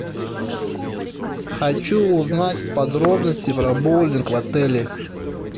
хочу узнать подробности про боулинг в отеле